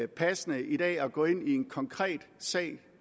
passende i dag at gå ind i en konkret sag